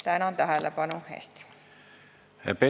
Tänan tähelepanu eest!